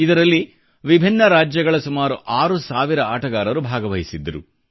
ಇದರಲ್ಲಿ ವಿಭಿನ್ನ ರಾಜ್ಯಗಳ ಸುಮಾರು 6 ಸಾವಿರ ಆಟಗಾರರು ಭಾಗವಹಿಸಿದ್ದರು